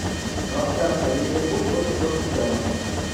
трансляция ливерпуль против тоттенхэма